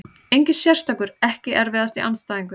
Engin sérstakur EKKI erfiðasti andstæðingur?